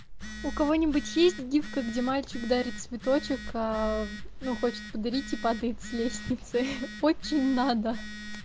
у кого-нибудь есть гифка где мальчик дарит цветочек аа ну хочет подарить и падает с лестницы очень надо